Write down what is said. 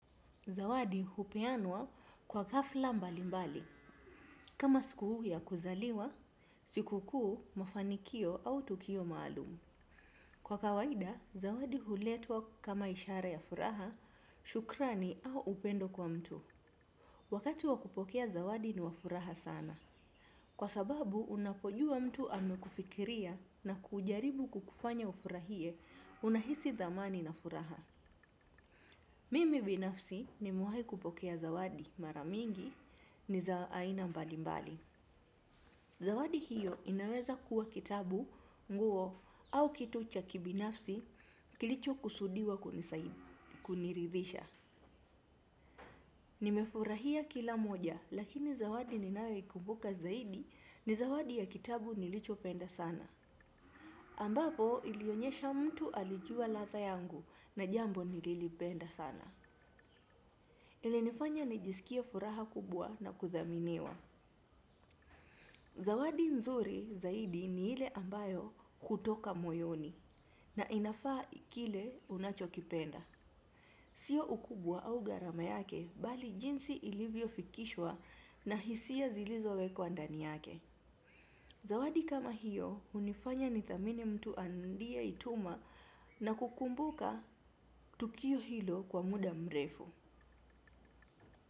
Zawadi hupeanwa kwa hafla mbali mbali, kama siku ya kuzaliwa, siku kuu mafanikio au tukio maalum. Kwa kawaida, zawadi huletwa kama ishara ya furaha, shukrani au upendo kwa mtu. Wakati wa kupokea zawadi ni wa furaha sana. Kwa sababu, unapojua mtu amekufikiria na kujaribu kukufanya ufurahie unahisi dhamani na furaha. Mimi binafsi nimewahi kupokea zawadi mara mingi ni za aina mbali mbali. Zawadi hiyo inaweza kuwa kitabu, nguo au kitu cha kibinafsi kilicho kusudiwa kuniridhisha. Nimefurahia kila moja lakini zawadi ninayoikumbuka zaidi ni zawadi ya kitabu nilicho penda sana. Ambapo ilionyesha mtu alijua ladha yangu na jambo nililipenda sana. Ilinifanya nijisikie furaha kubwa na kudhaminiwa. Zawadi nzuri zaidi ni ile ambayo hutoka moyoni na inafaa kile unachokipenda. Sio ukubwa au gharama yake bali jinsi ilivyo fikishwa na hisia zilizo wekwa ndani yake. Zawadi kama hiyo hunifanya nithamini mtu alieituma na kukumbuka tukio hilo kwa muda mrefu.